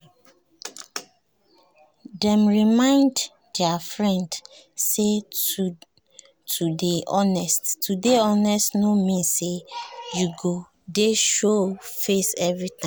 dem remind their friend say to dey honest no mean say you go dey show face every time